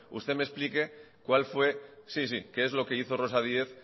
usted me explique qué es lo que hizo rosa díez